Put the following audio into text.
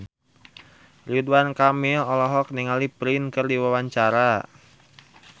Ridwan Kamil olohok ningali Prince keur diwawancara